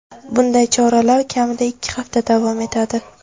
Bunday choralar kamida ikki hafta davom etadi.